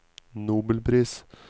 nobelpris